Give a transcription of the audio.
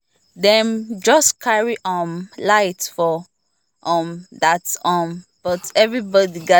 dem just carry um light like um that um but everybody gather calm down find way to continue